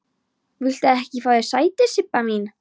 Viltu ekki fá þér sæti, Sibba mín?